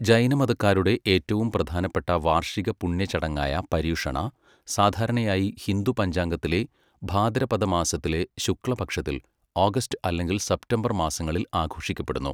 ജൈനമതക്കാരുടെ ഏറ്റവും പ്രധാനപ്പെട്ട വാർഷിക പുണ്യ ചടങ്ങായ പര്യുഷണ, സാധാരണയായി ഹിന്ദു പഞ്ചാംഗത്തിലെ ഭാദ്രപദ മാസത്തിലെ ശുക്ല പക്ഷത്തിൽ, ഓഗസ്റ്റ് അല്ലെങ്കിൽ സെപ്തംബർ മാസങ്ങളിൽ ആഘോഷിക്കപ്പെടുന്നു.